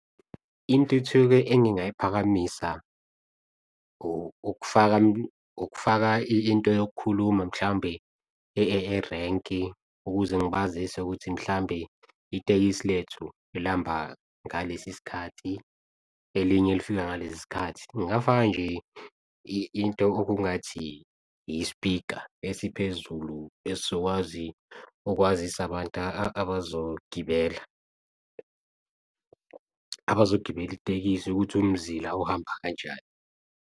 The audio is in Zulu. Intuthuko engingayiphakamisa ukufaka into yokukhuluma mhlawumbe erenki ukuze ngibazise ukuthi mhlawumbe itekisi lethu elihamba ngalesi sikhathi, elinye lifika ngalesi sikhathi. Ngingafaka nje into okungathi i-speaker esiphezulu esizokwazi ukwazisa abantu abazogibela, abazogibela itekisi ukuthi umzila uhamba kanjani.